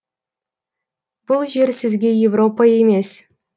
бұл жер сізге европа емес